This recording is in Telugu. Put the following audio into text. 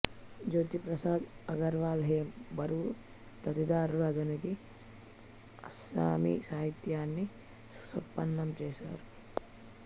జ్యోతీ ప్రసాద్ అగర్వల్లాహేమ్ బరువా తదితరులు అధునిక అస్సామీ సాహిత్యాన్ని సుసంపన్నం చేశారు